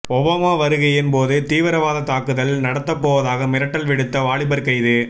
Obama வருகையின் போது தீவிரவாத தாக்குதல் நடத்தப்போவதாக மிரட்டல் விடுத்த வாலிபர் கைது